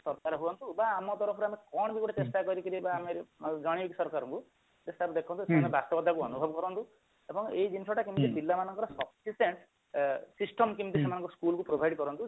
ସରକାର ହୁଅନ୍ତୁ ବା ଆମ ତରଫରୁ ଆମେ କଣ ବି ଗୋଟେ ଚେଷ୍ଟା କରିକିରି ଆମର ଜଣେଇବୁ ସରକାରଙ୍କୁ କି sir ଦେଖନ୍ତୁ ସେମନେ ଅନୁରୋଧ କରନ୍ତୁ ଏବଂ ଏଇ ଜିନିଷଟା କେମତି ପିଲାମାନଙ୍କର sufficient ଅ system କେମତି ସେମାନଙ୍କୁ provide କରନ୍ତୁ